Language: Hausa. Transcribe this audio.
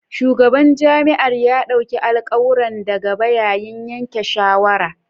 Shugaban jami'ar ya dauka alkawuran da gaba yayin yanke shawara